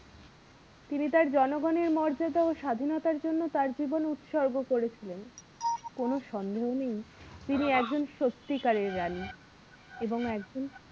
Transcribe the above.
তিনি তার জনগণের মর্যাদা ও স্বাধীনতার জন্য তার জীবন উৎসর্গ করেছিলেন কোনো সন্দেহ নেই তিনি একজন সত্যিকারের রানী এবং একজন